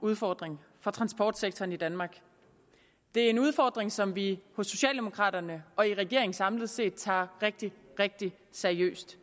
udfordring for transportsektoren i danmark det er en udfordring som vi hos socialdemokraterne og regeringen samlet set tager rigtig rigtig seriøst